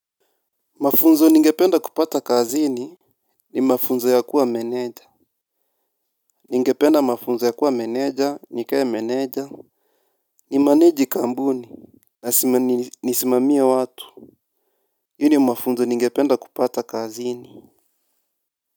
Mafunzo ningependa kupata kazini ni mafunzo ya kuwa meneja ningependa mafunzo ya kuwa meneja nikae meneja ni manage kampuni na nisimamie watu hii ni mafunzo ningependa kupata kazini.